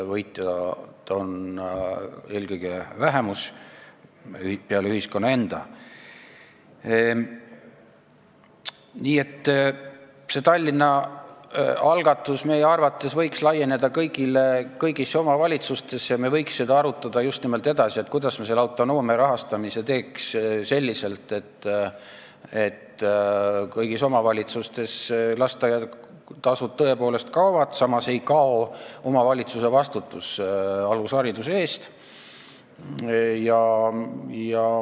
Nii et see Tallinna algatus võiks meie arvates laieneda kõigisse omavalitsustesse ja me võiks arutada just nimelt seda, kuidas me selle rahastamise teeks selliselt, et kõigis omavalitsustes lasteaiatasud tõepoolest kaovad, samas ei kao omavalitsuse vastutus alushariduse eest.